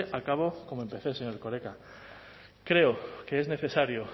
acabo como empecé señor erkoreka creo que es necesario